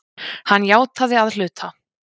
Hann játaði að hluta